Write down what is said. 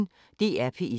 DR P1